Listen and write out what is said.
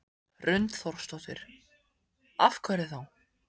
Hrund Þórsdóttir: Af hverju þá?